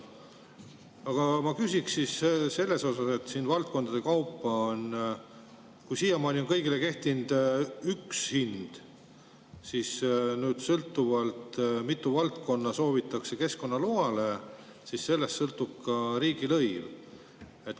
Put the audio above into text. Aga ma küsin selle kohta, et siiamaani on kõigile kehtinud üks hind, siis nüüd tuleneb, sõltuvalt sellest, mitu valdkonda soovitakse keskkonnaloale, ka riigilõiv.